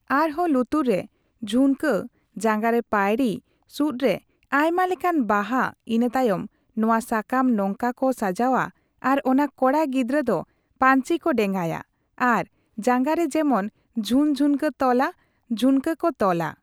ᱟᱨᱦᱚᱸ ᱞᱩᱛᱩᱨ ᱨᱮ ᱡᱷᱩᱱᱠᱟᱹ ᱡᱟᱜᱟᱸᱨᱮ ᱯᱟᱺᱭᱲᱤ ᱥᱩᱫ ᱨᱮ ᱟᱭᱢᱟ ᱞᱮᱠᱟᱱ ᱵᱟᱦᱟ ᱤᱱᱟᱹᱛᱟᱭᱚᱢ ᱱᱚᱣᱟ ᱥᱟᱠᱟᱢ ᱱᱚᱝᱠᱟ ᱠᱚ ᱥᱟᱡᱟᱜᱼᱟ ᱟᱨ ᱚᱱᱟ ᱠᱚᱲᱟ ᱜᱤᱫᱽᱨᱟᱹ ᱫᱚ ᱯᱟᱺᱧᱪᱤᱠᱚ ᱰᱮᱸᱜᱟᱭᱟ ᱟᱨ ᱡᱟᱸᱜᱟ ᱨᱮ ᱡᱮᱢᱚᱱ ᱡᱷᱩᱱ ᱡᱷᱩᱱᱠᱟᱹ ᱛᱚᱞᱟ ᱡᱷᱩᱱᱠᱟᱹ ᱠᱚ ᱛᱚᱞᱟ ᱾